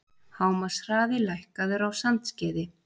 Hámarkshraði lækkaður á Sandskeiði